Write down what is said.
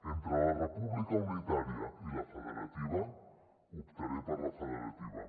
entre la república unitària i la federativa optaré per la federativa